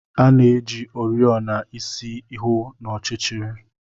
A na-eji oriọna isi hụ n'ọchịchịrị.